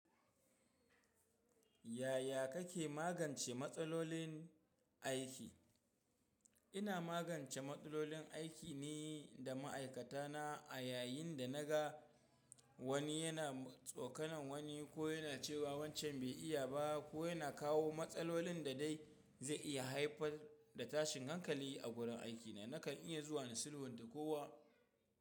Yaya kake magance matsalolin aiki? Ina magance matsalolin aiki ne da ma'aikata na a yayin da naga wani yana tsokanon wani ko yana cewa wancan bai iya ba ko yana kawo matsalolin da dai zai iya haifar da tashin hankali a gurin aikina. Nakan iya zuwa na sulhunta kowa.